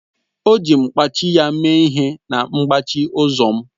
O ji mkpachị ya mee ihe na mgbachi ụzọ m